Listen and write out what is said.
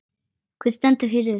Hver stendur fyrir þessu?